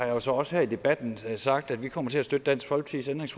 jo så også her i debatten sagt at vi kommer til at støtte dansk folkepartis